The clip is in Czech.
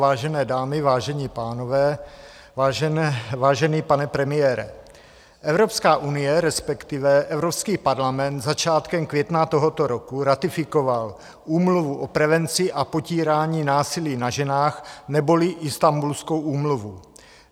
Vážené dámy, vážení pánové, vážený pane premiére, Evropská unie, respektive Evropský parlament začátkem května tohoto roku ratifikoval Úmluvu o prevenci a potírání násilí na ženách neboli Istanbulskou úmluvu.